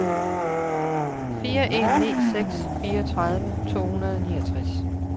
fire en ni seks fireogtredive to hundrede og niogtres